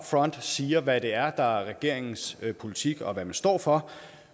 front siger hvad det er der er regeringens politik og hvad man står for